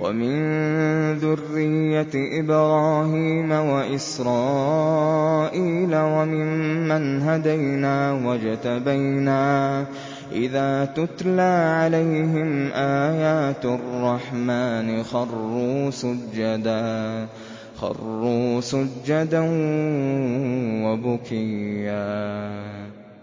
وَمِن ذُرِّيَّةِ إِبْرَاهِيمَ وَإِسْرَائِيلَ وَمِمَّنْ هَدَيْنَا وَاجْتَبَيْنَا ۚ إِذَا تُتْلَىٰ عَلَيْهِمْ آيَاتُ الرَّحْمَٰنِ خَرُّوا سُجَّدًا وَبُكِيًّا ۩